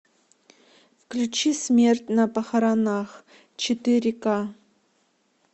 включи смерть на похоронах четыре ка